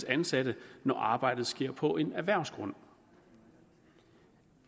ansatte når arbejdet sker på en erhvervsgrund